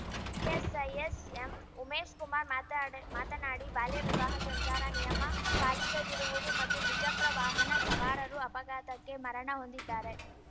PSI SM Umeshkumar ಮಾತಾಡಿ ಮಾತನಾಡಿ ಬಾಲ್ಯವಿವಾಹ ಸಂಚಾರ ನಿಯಮ ಪಾಲಿಸದಿರುವುದು ಮತ್ತು ದ್ವಿಚಕ್ರ ವಾಹನ ಸವಾರರು ಅಪಘಾತಕ್ಕೆ ಮರಣ ಹೊಂದಿದ್ದಾರೆ